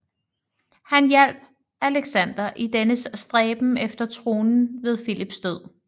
Han hjalp Alexander i dennes stræben efter tronen ved Filips død